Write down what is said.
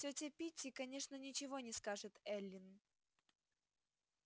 тётя питти конечно ничего не скажет эллин